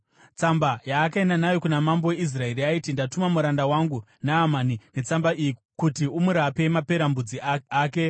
Tsamba yaakaenda nayo kuna mambo weIsraeri yaiti: “Ndatuma muranda wangu Naamani netsamba iyi kuti umurape maperembudzi ake.”